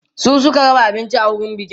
su Suka raba abinci a wurin bikin